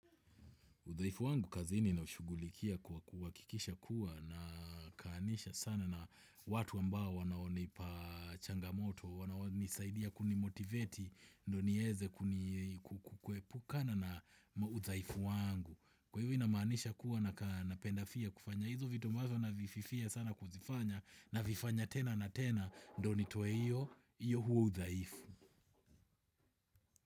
Udhaifu wangu kazini naushugulikia kwa kuhakikisha kuwa nakaanisha sana na watu ambao wanaonipa changamoto, wanaonisaidia kunimotiveti ndio niweze kuepukana na udhaifu wangu. Kwa hivyo inamanisha kuwa napenda pia kufanya hizu vitu ambaza navififia sana kuzifanya navifanya tena na tena ndio nitoe hio, huo udhaifu.